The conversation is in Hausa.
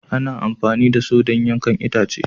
Ana amfani da Saw don yankan itace